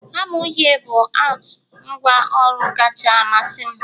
hama uhie bụ out ngwa ọru'm kacha amasị m